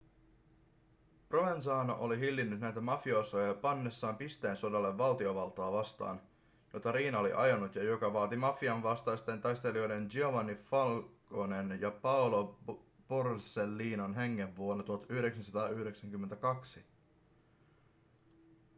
provenzano oli hillinnyt näitä mafiosoja pannessaan pisteen sodalle valtiovaltaa vastaan jota riina oli ajanut ja joka vaati mafian vastaisten taistelijoiden giovanni falconen ja paolo borsellinon hengen vuonna 1992